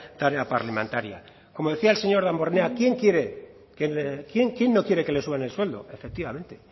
tarea parlamentaria como decía el señor damborenea quién no quiere que le suban el sueldo efectivamente